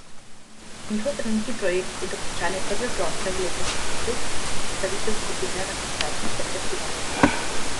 Njihov trenutni projekt je dokončanje prve plošče v letošnjem letu in predstavitev skupine na koncertih ter festivalih.